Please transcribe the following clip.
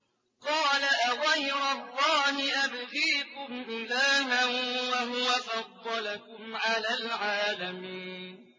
قَالَ أَغَيْرَ اللَّهِ أَبْغِيكُمْ إِلَٰهًا وَهُوَ فَضَّلَكُمْ عَلَى الْعَالَمِينَ